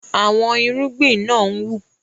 Àwọn irúgbìn na ń wù